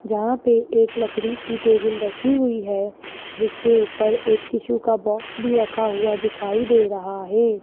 जहां पे एक लकड़ी की टेबल रखी हुई है जिसके ऊपर एक टिशू का बॉक्स भी रखा हुआ दिखाई दे रहा है।